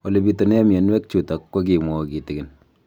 Ole pitune mionwek chutok ko kimwau kitig'�n